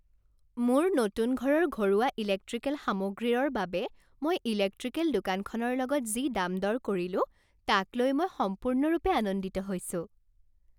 মোৰ নতুন ঘৰৰ ঘৰুৱা ইলেক্ট্ৰিকেল সামগ্ৰীৰৰ বাবে মই ইলেক্ট্ৰিকেল দোকানখনৰ লগত যি দাম দৰ কৰিলো তাক লৈ মই সম্পূৰ্ণৰূপে আনন্দিত হৈছোঁ।